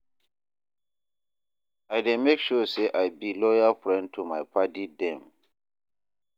I dey make sure sey I be loyal friend to my paddy dem.